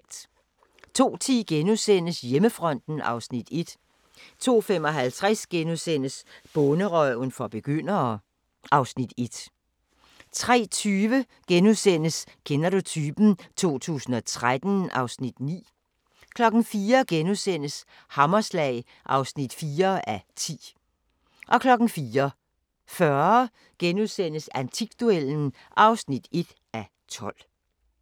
02:10: Hjemmefronten (Afs. 1)* 02:55: Bonderøven for begyndere (Afs. 1)* 03:20: Kender du typen? 2013 (Afs. 9)* 04:00: Hammerslag (4:10)* 04:40: Antikduellen (1:12)*